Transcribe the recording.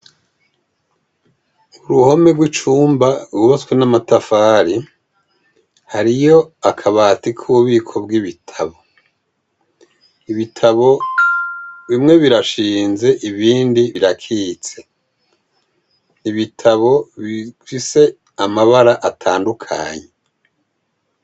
Uruhome rw'icumba rwubatswe n'amatafari, hariyo akabati k'ububiko bw'ibitabo. Ibitabo bimwe birashinze ibindi birakitse. Ibitabo bifise amabara atandukanye.